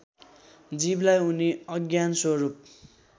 जीवलाई उनी अज्ञानस्वरूप